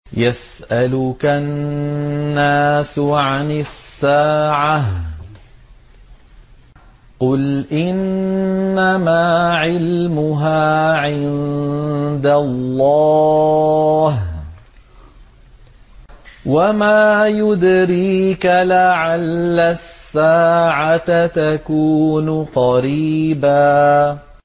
يَسْأَلُكَ النَّاسُ عَنِ السَّاعَةِ ۖ قُلْ إِنَّمَا عِلْمُهَا عِندَ اللَّهِ ۚ وَمَا يُدْرِيكَ لَعَلَّ السَّاعَةَ تَكُونُ قَرِيبًا